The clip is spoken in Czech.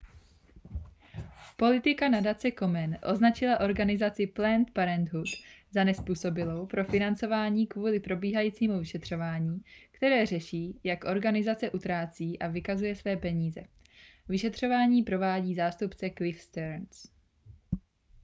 politika nadace komen označila organizaci planned parenthood za nezpůsobilou pro financování kvůli probíhajícímu vyšetřování které řeší jak organizace utrácí a vykazuje své peníze vyšetřování provádí zástupce cliff stearns